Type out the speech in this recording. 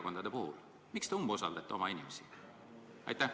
Kui jah, siis miks te umbusaldate oma inimesi?